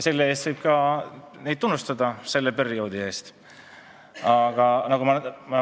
Selle eest, selle perioodi eest võib neid ka tunnustada.